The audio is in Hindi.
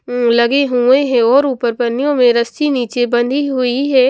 उम लगे हुए हैं और ऊपर पन्नियों में रस्सी नीचे बंधी हुई है।